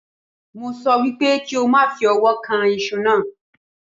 Mo sọ wípé kí o má fi ọwọ́ kan iṣu náà